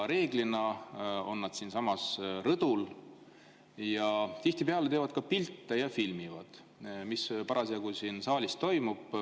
Reeglina on nad siinsamas rõdul ja tihtipeale teevad ka pilte ja filmivad seda, mis parasjagu siin saalis toimub.